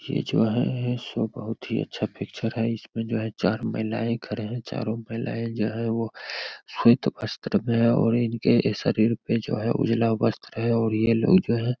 ये जो है सो बहुत ही अच्छा पिक्चर है इसमें जो है चार महिलायें खड़े हैं चारों महिलायें जो हैं वो श्वेत वस्त्र में है और इनके शरीर पर जो है उजला वस्त्र है और ये लोग जो है --